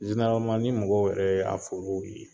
ni mɔgɔw yɛrɛ y'a forow ye